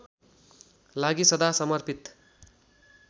लागि सदा समर्पित